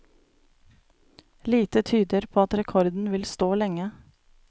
Lite tyder på at rekorden vil stå lenge.